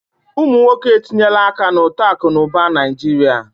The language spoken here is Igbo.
Ụmụ nwoke etinyela aka na uto akụ na ụba Naijiria.